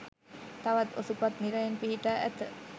තවත් ඔසුපත් නිරයන් පිහිටා ඇත.